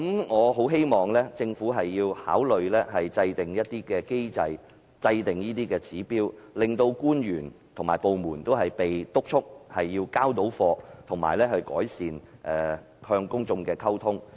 我很希望政府考慮制訂一些機制和指標，督促官員和部門"交貨"，並改善與公眾的溝通。